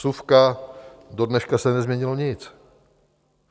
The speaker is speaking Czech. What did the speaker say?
Vsuvka: Do dneška se nezměnilo nic.